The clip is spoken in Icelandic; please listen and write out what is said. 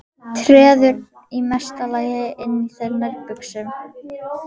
Treður í mesta lagi inn í þær nærbuxum.